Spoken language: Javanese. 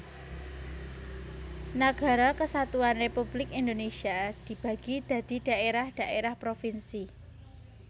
Nagara Kesatuan Republik Indonésia dibagi dadi dhaérah dhaérah provinsi